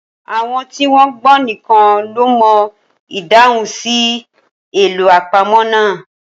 Àwọn tí wọ́n gbọ́n nìkan ló mọ ìdáhùn sí àlọ́ àpamọ̀ náà.